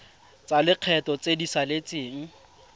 tsa lekgetho tse di saletseng